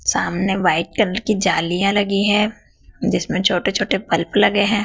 सामने white colour की जालियां लगी है जिसमें छोटे छोटे बल्ब लगे हैं।